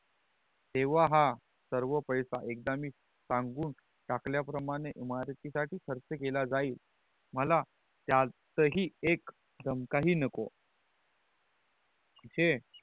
तेवा हा सर्व पैसा एकदा मी सांगून टाकल्या प्रमाणे इमारती साठी खर्च केल जाईल मला त्यात ही एक दमक ही नको हे